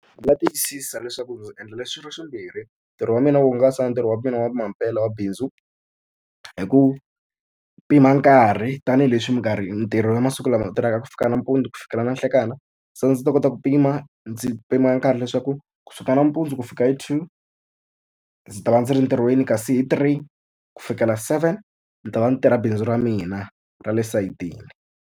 Ndzi nga tiyisisa leswaku ndzi endla leswi swi ri swimbirhi, ntirho wa mina wo hungasa na ntirho wa mina wa mampela wa bindzu hi ku pima nkarhi. Tanihi leswi minkarhi ntirho ya masiku lama u tirhaka kusuka nampundzu ku fikela na nhlekani, se ndzi ta kota ku pima ndzi pima nkarhi leswaku kusuka nampundzu ku fika hi two ndzi ta va ndzi ri entirhweni, kasi hi three ku fikela seven ndzi ta va ndzi tirha bindzu ra mina ra le sayitini.